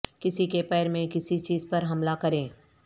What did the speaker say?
کسی کے پیر میں کسی چیز پر حملہ کریں